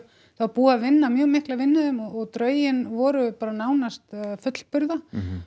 var búið að vinna mjög mikla vinnu í þeim og drögin voru bara nánast fullburða